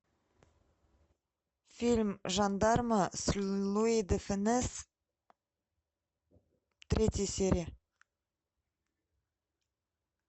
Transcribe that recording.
фильм жандарма с луи де фюнес третья серия